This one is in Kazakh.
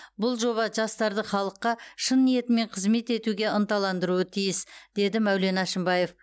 бұл жоба жастарды халыққа шын ниетімен қызмет етуге ынталандыруы тиіс деді мәулен әшімбаев